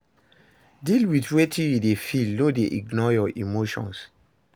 Deal with wetin you de feel no de ignore your emotions